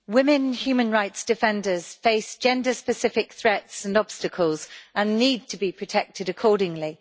Mr President, women human rights defenders face gender-specific threats and obstacles and need to be protected accordingly.